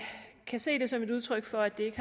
se det som et udtryk for at det ikke